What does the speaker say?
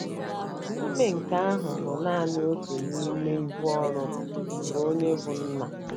Ma ime nke ahụ bụ nanị otu n’ime ibu ọrụ nke onye bụ́ nna.